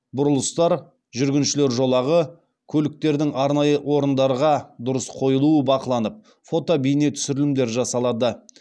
бұрылыстар жүргіншілер жолағы көліктердің арнайы орындарға дұрыс қойылуы бақыланып фото бейне түсірілімдер жасалады